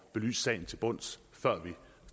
belyst sagen til bunds før vi